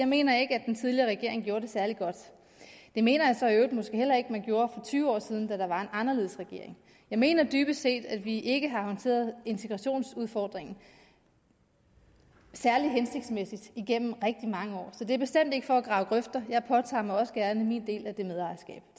mener at den tidligere regering gjorde det særlig godt det mener jeg så i øvrigt måske heller ikke man gjorde for tyve år siden da der var en anderledes regering jeg mener dybest set at vi ikke har håndteret integrationsudfordringen særlig hensigtsmæssigt igennem rigtig mange år så det er bestemt ikke for at grave grøfter jeg påtager mig også gerne min del